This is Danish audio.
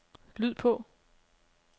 lyd på